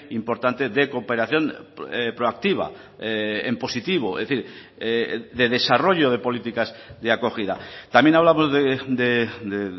importante de cooperación proactiva en positivo es decir de desarrollo de políticas de acogida también hablamos de